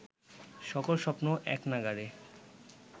সকল স্বপ্ন এক নাগাড়ে